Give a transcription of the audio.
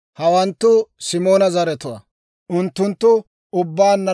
Hawanttu Simoona zaratuwaa; unttunttu ubbaanna 22,200.